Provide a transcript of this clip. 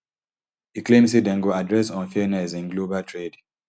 e claim say dem go address unfairness in global trade